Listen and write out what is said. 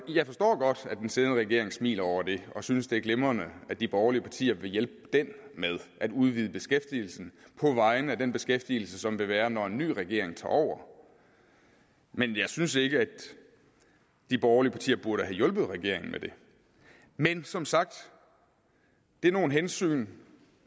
jeg forstår godt at den siddende regering smiler over det og synes det er glimrende at de borgerlige partier vil hjælpe den med at udvide beskæftigelsen på vegne af den beskæftigelse som vil være når en ny regering tager over men jeg synes ikke at de borgerlige partier burde have hjulpet regeringen med det men som sagt det er nogle hensyn